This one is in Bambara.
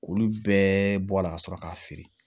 K'olu bɛɛ bɔ a la ka sɔrɔ k'a feere